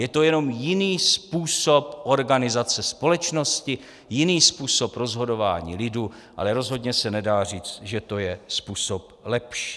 Je to jenom jiný způsob organizace společnosti, jiný způsob rozhodování lidu, ale rozhodně se nedá říct, že to je způsob lepší.